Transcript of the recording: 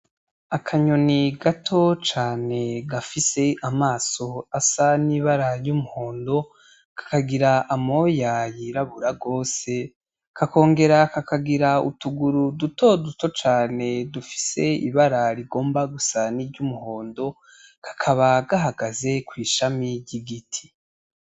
Akanyoni gato cane gafise amaso asa n'ibara ry'umuhondo , kakagira amoya yirabura gose kakongera kakagira utuguru dutoduto cane dufise ibara rigomba gusa niry 'umuhondo , kakaba gahagaze kw'ishami ry'igiti.